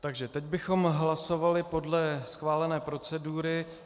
Takže teď bychom hlasovali podle schválené procedury.